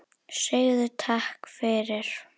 Segðu takk fyrir.